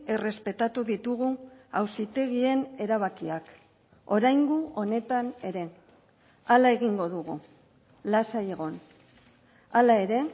errespetatu ditugu auzitegien erabakiak oraingo honetan ere hala egingo dugu lasai egon hala ere